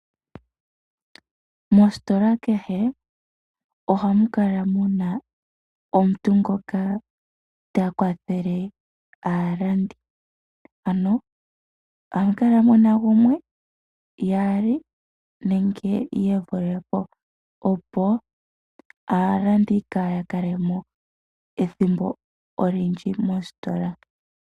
Moositola kehe ohamu kala mu na omuntu ngoka ta kwathele aalandi. Ano ohamu kala mu na gumwe, yaali nenge ye vule po opo aalandi kaaya kale mo ethimbo olindji moositola.